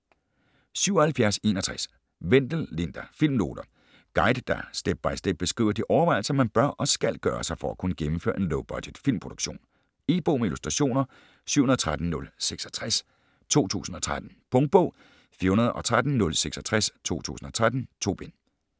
77.61 Wendel, Linda: Filmnoter Guide, der step-by-step beskriver de overvejelser man bør og skal gøre sig for at kunne gennemføre en low-budget filmproduktion. E-bog med illustrationer 713066 2013. Punktbog 413066 2013. 2 bind.